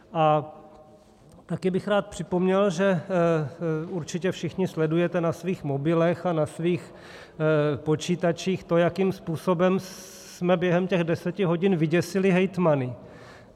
A taky bych rád připomněl, že určitě všichni sledujete na svých mobilech a na svých počítačích to, jakým způsobem jsme během těch deseti hodin vyděsili hejtmany.